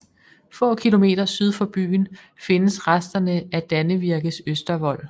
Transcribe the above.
Få kilometer syd for byen findes resterne af Dannevirkes Østervold